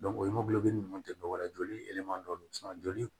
o ye nunnu tɛ dɔwɛrɛ ye joliman dɔ joli